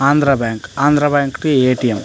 Andhra bank Andhra bank కి A. T. M .